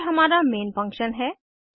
यह हमारा main function है